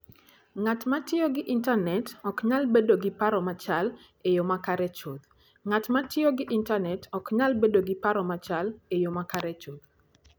Ng'at ma tiyo gi intanet ok nyal bedo gi paro machal e yo makare chuth: Ng'at ma tiyo gi intanet ok nyal bedo gi paro machal e yo makare chuth.